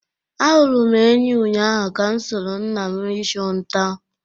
Ahụrụ m enyí ụnyahụ ka m soro nna m ịchụ nta.